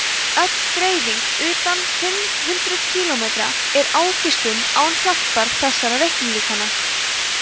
öll dreifing utan fimm hundruð kílómetri er ágiskun án hjálpar þessara reiknilíkana